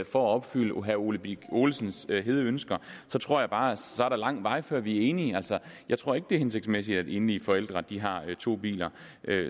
for at opfylde herre ole birk olesens hede ønsker tror jeg bare at så er der lang vej før vi er enige jeg tror ikke det er hensigtsmæssigt at enlige forældre har to biler